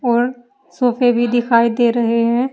और सोफे भी दिखाई दे रहे है।